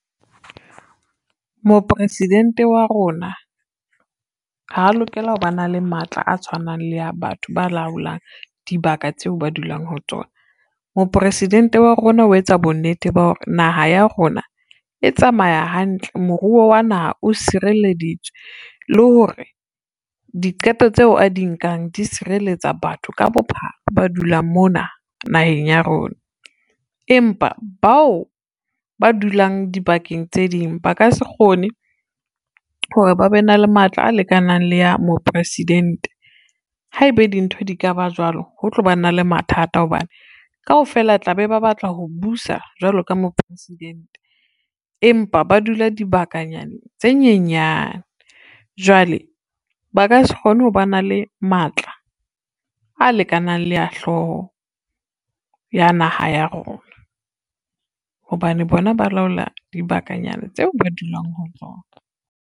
Mopresidente wa rona, ha lokela ho ba na le matla a tshwanang le ya batho ba laolang dibaka tseo ba dulang ho tsona. Mopresidente wa rona o etsa bonnete ba hore naha ya rona e tsamaya hantle, moruo wa naha o sireleditswe le hore diqeto tseo a di nkang di sireletsa batho ka bophara ba dulang mona naheng ya rona. Empa bao ba dulang dibakeng tse ding ba ka se kgone hore ba be na le matla a lekanang le ya Mopresidente, haebe dintho di ka ba jwalo, ho tlo ba na le mathata hobane kaofela tla be ba batla ho busa jwalo ka Mopresidente. Empa ba dula dibakanyana tse nyenyane jwale, ba ka se kgone ho ba na le matla a lekanang le ya hlooho ya naha ya rona hobane bona ba laola dibakanyana tse ba dulang ho tsona.